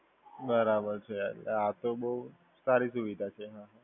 બરાબર છે, આ તો બોવ સારી સુવિધા છે.